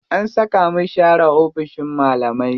An saka mu share oficin malamai.